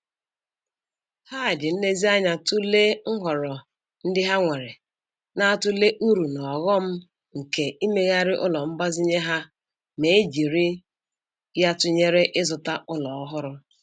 Ha ji nlezianya tụlee nhọrọ ndị ha nwere, na-atụle uru na ọghọm nke imeghari ụlọ mgbazinye ha ma e jiri ya tụnyere ịzụta ụlọ ọhụrụ